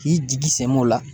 K'i jigi sɛmɛ o la